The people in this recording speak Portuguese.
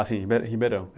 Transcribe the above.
Ah, sim, Ribe, Ribeirão.